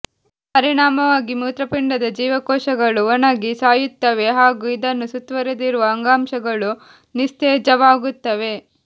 ಪರಿಣಾಮವಾಗಿ ಮೂತ್ರಪಿಂಡದ ಜೀವಕೋಶಗಳು ಒಣಗಿ ಸಾಯುತ್ತವೆ ಹಾಗೂ ಇದನ್ನು ಸುತ್ತವರೆದಿರುವ ಅಂಗಾಂಶಗಳೂ ನಿಸ್ತೇಜವಾಗುತ್ತವೆ